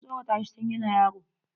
An tsoratashi tun yana yaro.